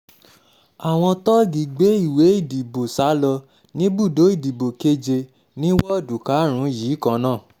àwọn tóògì gbé ìwé ìdìbò sá lọ níbùdó ìdìbò keje ní woodu karùn-ún yìí kan náà